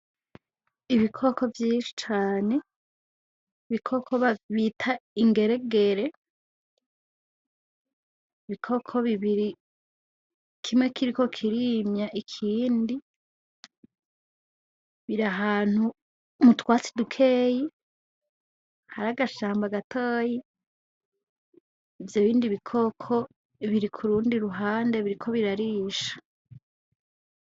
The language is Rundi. Ibikoko vyinshi cane, ibikoko bita ingeregere. Ibikoko bibiri, kimwe kiriko kirimya ikindi. Biri ahantu mutwatsi dukeye, hari agashamba gatoya. ivyo bindi bikoko biri kurundi ruhande biriko birarisha.